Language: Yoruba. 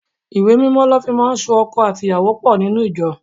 Ìwé Mímọ́ lọ fi máa ń so ọkọ àti ìyàwó pò nínú ìjọ.